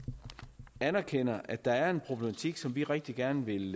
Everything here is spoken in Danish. anerkender at der er en problematik som vil rigtig gerne vil